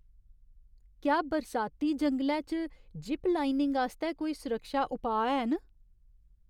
क्या बरसाती जंगलै च जिप लाइनिंग आस्तै कोई सुरक्षा उपाऽ हैन?